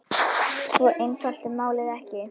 Svo einfalt er málið ekki.